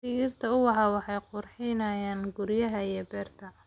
Dhirta ubaxa waxay qurxinayaan guryaha iyo beerta.